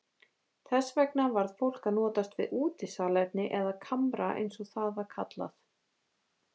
Þess vegna varð fólk að notast við útisalerni eða kamra eins og það var kallað.